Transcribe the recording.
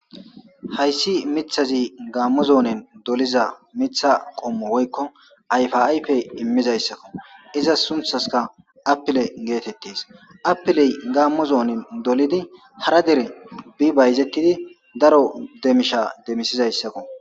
Hayssi miththazi Gaammo zoonen doliza miththa qommo woykko ayfa ayfe immizayssako. Izas sunththaska appile geetettees appiley Gaammo zoonen dolidi hara dere bi bayzetidi daro demisha demisizayssako.